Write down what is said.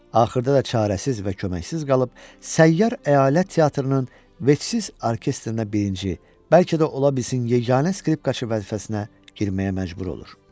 Axırda da çarəsiz və köməksiz qalıb səyyar əyalət teatrının vecsiz orkestrinə birinci, bəlkə də, ola bilsin yeganə skripkaçı vəzifəsinə girməyə məcbur olur.